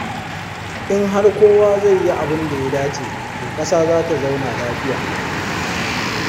In har kowa zai yi abin da ya dace, to ƙasa za ta zauna lafiya.